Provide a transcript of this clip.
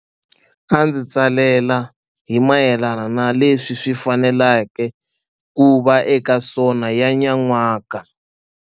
A ndzi tsalela hi mayelana na leswi swi faneleke ku va eka SoNA ya nyan'waka.